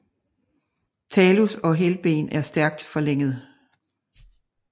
Talus og hælben er stærkt forlænget